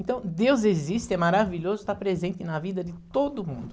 Então, Deus existe, é maravilhoso estar presente na vida de todo mundo.